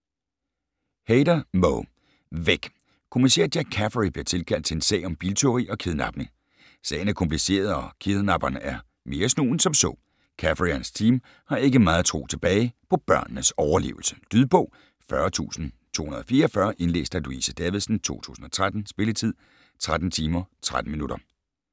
Hayder, Mo: Væk Kommissær Jack Caffery bliver tilkaldt til en sag om biltyveri og kidnapning. Sagen er kompliceret og kidnapperen er mere snu end som så. Caffery og hans team har ikke meget tro tilbage på børnenes overlevelse. Lydbog 40244 Indlæst af Louise Davidsen, 2013. Spilletid: 13 timer, 13 minutter.